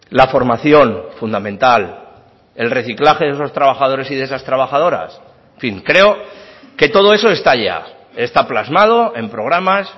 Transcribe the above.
la formación fundamental el reciclaje de esos trabajadores y de esas trabajadoras en fin creo que todo eso está ya está plasmado en programas